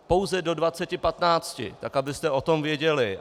Pouze do 20.15, tak abyste o tom věděli.